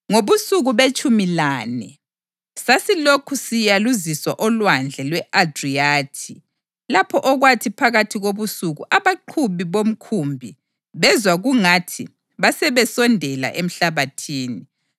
Ngobusuku betshumi lane sasilokhu siyaluziswa oLwandle lwe-Adriyathi, lapho okwathi phakathi kobusuku abaqhubi bomkhumbi bezwa kungathi basebesondela emhlabathini.